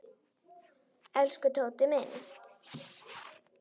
Elsku Tóti minn.